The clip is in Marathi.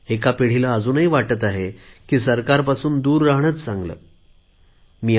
एका पिढीला अजूनही वाटते आहे की सरकारपासून दूर राहणेच चांगले आहे